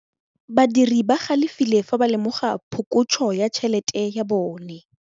Badiri ba galefile fa ba lemoga phokotsô ya tšhelête ya bone.